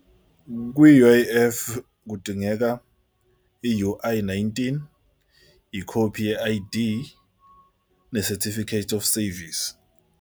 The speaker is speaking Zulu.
Kwi-U_I_F kudingeka i-U_I nineteen, ikhophi ye-I_D, ne-certificate of service.